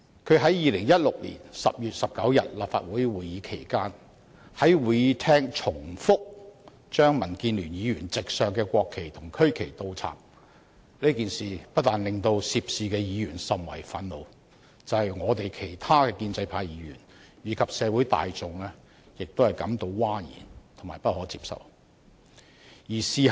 他在2016年10月19日立法會會議期間，在會議廳再三倒插民主建港協進聯盟議員席上的國旗和區旗，這件事不但令涉事議員甚為憤怒，連其他建制派議員和社會大眾也感到譁然和不可接受。